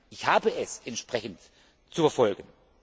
Ich habe es entsprechend zu verfolgen.